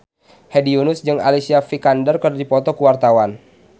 Hedi Yunus jeung Alicia Vikander keur dipoto ku wartawan